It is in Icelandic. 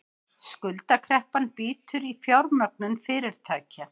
Skuldakreppan bítur í fjármögnun fyrirtækja